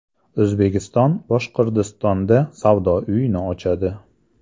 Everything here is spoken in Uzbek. O‘zbekiston Boshqirdistonda savdo uyini ochadi.